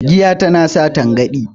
giya tana sa tangani